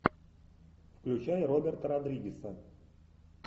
включай роберта родригеса